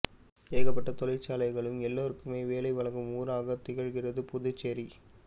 ஏகப்பட்ட தொழிற்சாலைகளும் எல்லோருக்குமே வேலை வழங்கும் ஊராக திகழ்கிறது புதுச்சேரி